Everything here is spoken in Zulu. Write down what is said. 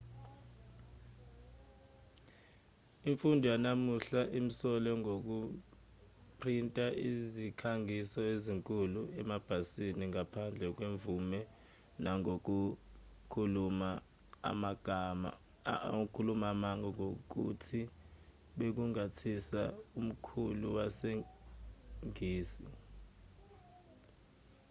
imfundo yanamuhla imsole ngokuphrinta izikhangiso ezinkulu emabhasini ngaphandle kwemvume nangokukhuluma amanga ngokuthi bekunguthisha omkhulu wesingisi